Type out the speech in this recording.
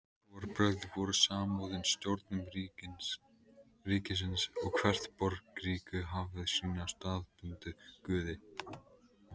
Trúarbrögð voru samofin stjórnun ríkisins og hvert borgríki hafði sína staðbundnu guði.